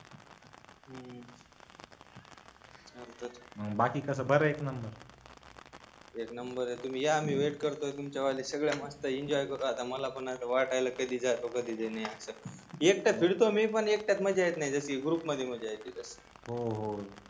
बाकी कस बरय का मग एक नंबर य तुम्ही या एक करतो तुमच्यासाठी सगळ मस्त अस एन्जॉय करू आता मला पण वाटायलय कधी जातो कधी नाही अस एकट फिरतो मी पण एकट्यात मज्जा येत नाही तशी ग्रुप मध्ये मज्जा येते हूंं हूं